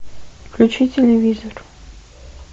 включи телевизор